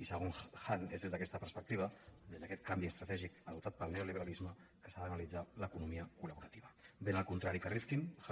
i segons han és des d’aquesta perspectiva des d’aquest canvi estra·tègic adoptat pel neoliberalisme que s’ha d’analitzar l’economia colhan